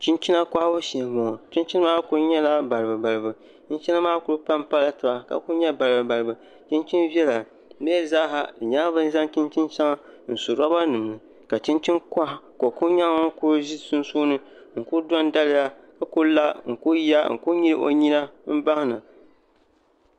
chinchina kɔhibu shee m-bɔŋɔ chinchina maa kuli pampala taba ka kuli nyɛ balibubalibu chinchin' viɛla di mi zaasa di nyɛla bɛ ni zaŋ chinchin' shɛŋa n-su lobanima ni ka chinchini kɔha ka o kuli nyɛ ŋun kuli ʒi sunsuuni n-kuli dɔndaliya ka kuli la n-kuli nyili o nyina m-bahi na